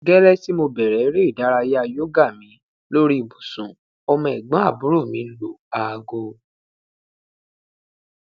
gẹlẹ ti mo bẹrẹ ere idaraya yoga mi lori ibusun ọmọ ẹgbọnaburo mi lu aago